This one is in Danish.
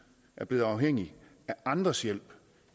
er blevet afhængige af andres hjælp